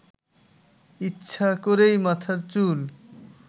ইচ্ছা করেই মাথার চুল